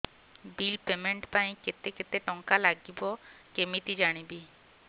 bill payment ପାଇଁ କେତେ କେତେ ଟଙ୍କା ଲାଗିବ କେମିତି ଜାଣିବି